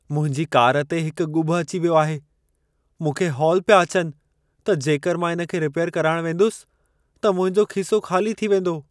मुंहिंजी कार ते हिक ॻुभ अची वियो आहे। मूंखे हौल पिया अचनि त जेकर मां इन खे रिपैयर कराइण वेंदुसि, त मुंहिंजो खीसो ख़ाली थी वेंदो।